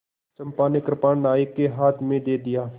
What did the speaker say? चंपा ने कृपाण नायक के हाथ में दे दिया